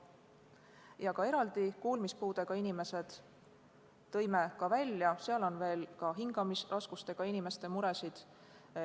Tõime eraldi välja ka kuulmispuudega inimesed, samuti oli seal hingamisraskustega inimeste muresid.